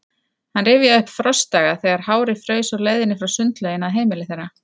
Hann rifjaði upp frostdaga, þegar hárið fraus á leiðinni frá sundlauginni að heimili þeirra.